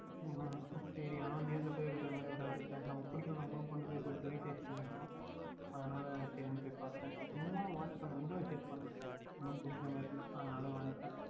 உம் உம் சரி ஆனால் நேரில் போய் எடுப்பதுபோல் வராது ல நம்ம பிடிக்கவில்லை என்றால் கூட கொண்டு போய் கொடுத்து Resize பண்ணிக்கொள்ளலாம் அதுனால் தான் சரின்னு போய் பார்த்தேன் சும்மா Watch பன்னினேன் Window visit பன்னினேன் ஒன்றும் பிடிக்கின்ற மாறி இல்லை அதுனாலே வந்துவிட்டேன்